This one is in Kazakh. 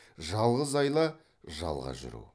жалғыз айла жалға жүру